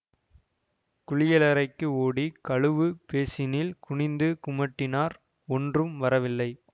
குளியலறைக்கு ஓடி கழுவு பேசினில் குனிந்து குமட்டினார் ஒன்றும் வரவில்லை